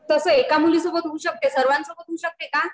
कसं आहे एका मुलीसोबत होऊ शकते सर्वांसोबत होऊ शकते का?